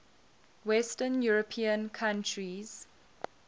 western european countries